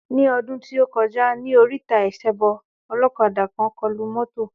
Ní ọdún tí o kọjá, ní oríta ìsebọ olókadà kàn kọlu mọ́tò.